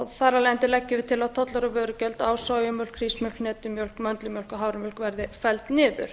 þar af leiðandi leggjum að til að tollar og vörugjöld á sojamjólk hrísmjólk hnetumjólk möndlumjólk og haframjólk verði felld niður